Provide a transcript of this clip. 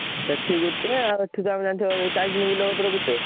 ସେଠି ଗୋଟେ ଆଉ ଏଠି ତ ଆମର ଜାଣିଥିବ ବିଲ କତିରେ ଗୋଟେ।